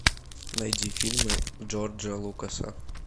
найди фильмы джорджа лукаса